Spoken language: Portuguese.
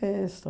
É isso.